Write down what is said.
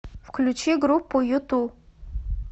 включи группу юту